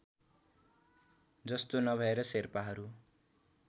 जस्तो नभएर शेर्पाहरू